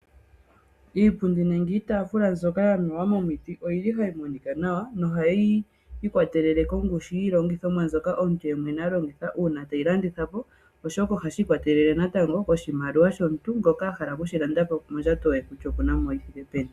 Iipundi nenge iitafula mbyoka yamewa momiti oyili hayi monika nawa nohayi kwatelele kongushu yiilongithomwa mbyoka omuntu yemwene alongitha uuna teyi landitha po oshoka ohashi ikwatelela natango koshimaliwa shomuntu ngoka ahala oku shilanda po kutya mondjato ye okuna oshithike peni